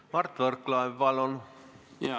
Mart Võrklaev, palun!